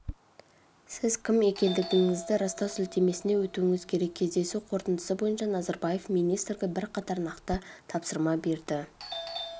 сіз кім екендігіңізді растау сілтемесіне өтуіңіз керек кездесу қорытындысы бойынша назарбаев министрге бірқатар нақты тапсырма берді